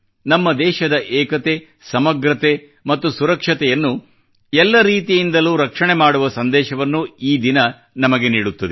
ನಮ್ಮ ದೇಶದ ಏಕತೆ ಸಮಗ್ರತೆ ಮತ್ತು ಸುರಕ್ಷತೆಯನ್ನು ಎಲ್ಲ ರೀತಿಯಿಂದಲೂ ರಕ್ಷಣೆ ಮಾಡುವ ಸಂದೇಶವನ್ನು ಈ ದಿನ ನಮಗೆ ನೀಡುತ್ತದೆ